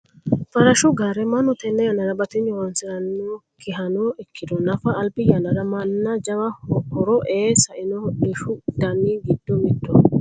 farashshu gaare mannu tenne yannara batinyu horonsirannokkihano ikkiro nafa albi yannara manna jawa horo ee sainoho hodhishshu dani giddo mittoho.